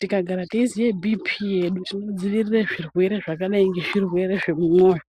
tikagara teiziye bhiipii yedu zvinodzivirire zvirwere zvakadai ngezvirwere zvemwoyo.